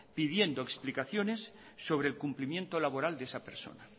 pidiendo explicaciones sobre el cumplimiento laboral de esa persona